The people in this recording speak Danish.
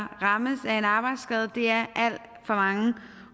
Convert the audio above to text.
rammes af en arbejdsskade er alt for mange